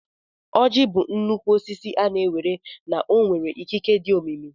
Ọjị bụ nnukwu osisi a na-ewere na ọ nwere ikike dị omimi.